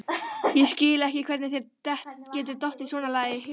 Ég skil ekki hvernig þér getur dottið svonalagað í hug!